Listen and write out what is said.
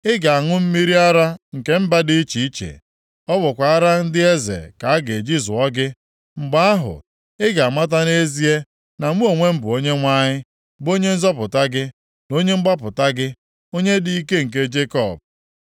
Ị ga-aṅụ mmiri ara nke mba dị iche iche, ọ bụkwa ara ndị eze ka a ga-eji zuo gị. + 60:16 Ọ bụkwa ara ndị eze ka ị ga-amị Mgbe ahụ, ị ga-amata nʼezie na mụ onwe m, bụ Onyenwe anyị bụ Onye nzọpụta gị na Onye mgbapụta gị, Onye dị ike nke Jekọb.